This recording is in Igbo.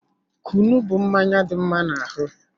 Kunu bụ mmanya dị mma n'ahụ